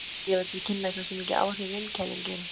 Litirnir gefa til kynna hversu mikil áhrif vindkælingar eru.